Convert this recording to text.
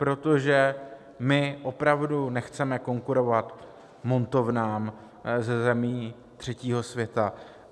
Protože my opravdu nechceme konkurovat montovnám ze zemí třetího světa.